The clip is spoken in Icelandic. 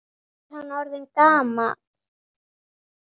Hvað er hann orðinn gamall?